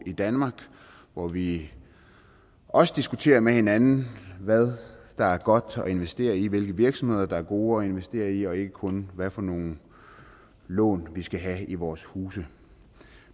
i danmark hvor vi også diskuterer med hinanden hvad der er godt at investere i hvilke virksomheder der er gode at investere i og ikke kun hvad for nogle lån vi skal have i vores huse